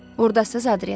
Ordasan, Adrian?